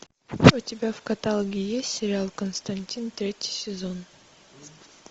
у тебя в каталоге есть сериал константин третий сезон